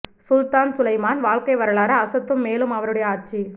சுல்தான் Suleiman வாழ்க்கை வரலாறு அசத்தும் மேலும் அவருடைய ஆட்சி